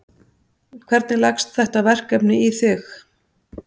Hvernig leggst þetta verkefni í þig?